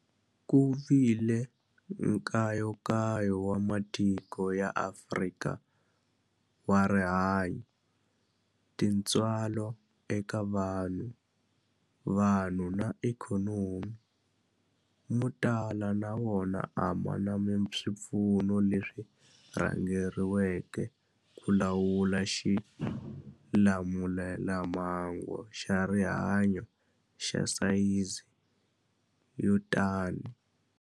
Ku vile nkayakayo wa matiko ya Afrika wa rihanyu, tintswalo eka vanhu, vanhu na ikhonomi, mo tala ma wona a ma na swipfuno leswi rhangeriweke ku lawula xilamulelamhangu xa rihanyu xa sayizi yo tani.